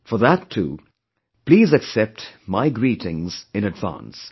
For that too, please accept my greetings in advance